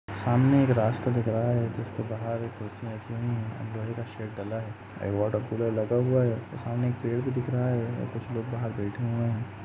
सामने एक रास्ता दिख रहा है जिसके बाहर कुर्सियां रखी हुई है और लोहे का शेड डला है। एक वाटर कूलर लगा हुआ है सामने एक पेड़ भी दिख रहा है और कुछ लोग बाहर बैठे हुए हैं।